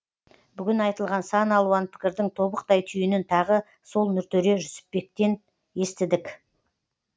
бүгін айтылған сан алуан пікірдің тобықтай түйінін тағы сол нұртөре жүсіпбектен естідік